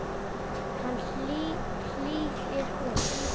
Hann hlýðir honum.